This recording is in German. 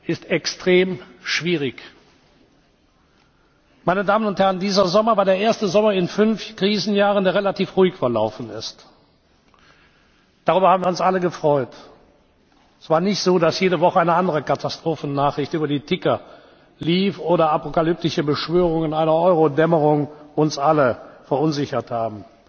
in konkretes Recht ist extrem schwierig. Meine Damen und Herren, dieser Sommer war der erste Sommer in fünf Krisenjahren, der relativ ruhig verlaufen ist. Darüber haben wir uns alle gefreut. Es war nicht so, dass jede Woche eine andere Katastrophennachricht über die Ticker lief oder apokalyptische Beschwörungen einer Euro Dämmerung uns alle